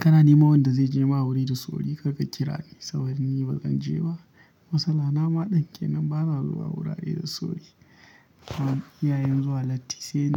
Kana neman wanda zai je ma wuri da sauri karka kira ni saboda ni bazan je ba. Matsala na ma din kenan ba na zuwa wurare da sauri. Amma iyayen zuwa latti sai.